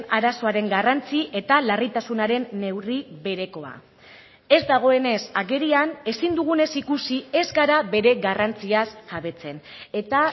arazoaren garrantzi eta larritasunaren neurri berekoa ez dagoenez agerian ezin dugunez ikusi ez gara bere garrantziaz jabetzen eta